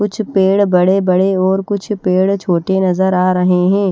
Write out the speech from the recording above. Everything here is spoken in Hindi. कुछ पेड़ बड़े बड़े और कुछ पेड़ छोटे नजर आ रहे है।